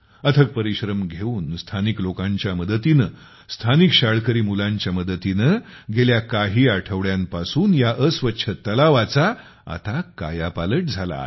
अथक परिश्रम घेऊन स्थानिक लोकांच्या मदतीने स्थानिक शाळकरी मुलांच्या मदतीने गेल्या काही आठवड्यांपासून त्या अस्वच्छ तलावाचा आता कायापालट झाला आहे